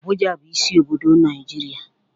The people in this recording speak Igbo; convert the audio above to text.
Abụja bụ isi obodo Naịjirịa.